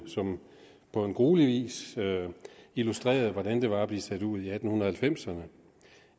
som på gruelig vis illustrerer hvordan det var at blive sat ud i atten halvfemserne